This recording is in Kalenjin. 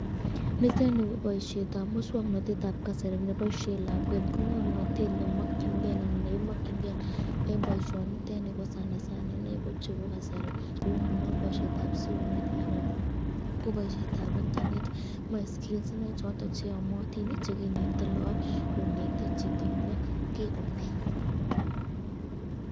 Nitet nii ko boishetab muswoknotetab kasari neboishen lakwet, ng'omnotet nemokying'e anan nekimokying'e en boishoni ko sana sana ineii ko chebo kasari ko kouu ng'unon boishetab simoit anan koboishetab internet moee skills inei choton cheyomotin chekinete look konete chito nee kikonai.